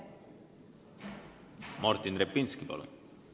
Martin Repinski, palun!